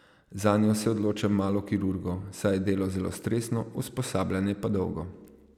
Zanjo se odloča malo kirurgov, saj je delo zelo stresno, usposabljanje pa dolgo.